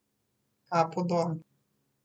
Kapo dol!